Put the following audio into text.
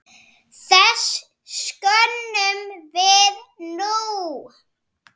Þess söknum við nú.